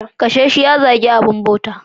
Kashe shi ya zagi abin bauta.